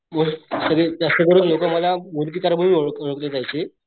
सगळे जास्त करून लोक मला मूर्तिकार म्हणून ओळखले जायचे.